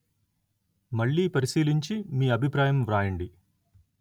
మళ్ళీ పరిశీలించి మీ అభిప్రాయం వ్రాయండి